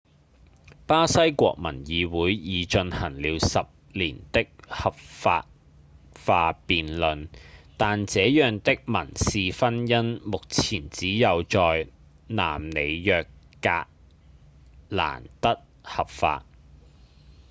巴西國民議會已進行了10年的合法化辯論但這樣的民事婚姻目前只有在南里約格蘭德合法